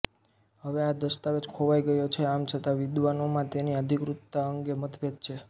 હવે આ દસ્તાવેજ ખોવાઈ ગયો છે આમ છતાં વિદ્વાનોમાં તેની અધિકૃતતા અંગે મતભેદ છે